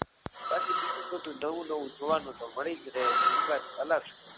બાકી બીજું બધું નવું નવું જોવાનું તો મળી જ રહે છે એ વાત અલગ છે.